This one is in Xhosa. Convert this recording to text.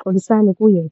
Xolisani kuye.